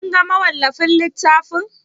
Kin ga mawallafin littafin?